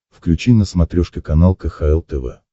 включи на смотрешке канал кхл тв